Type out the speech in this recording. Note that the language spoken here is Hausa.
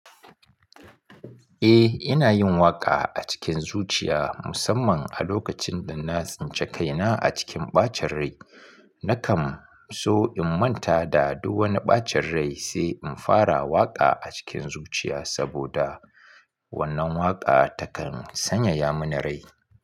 Eh, ina yin waƙa a cikin zuciya musamman a lokacin da na tsince kaina a cikin ɓacin rai. Nakan so in manta da duk wani ɓacin rai, sai in fara waƙa a cikin zuciya saboda wannan waƙa takan sanyaya mini rai.